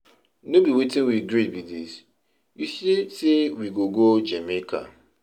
No be wetin we gree be dis, you say say we go go Jamaica.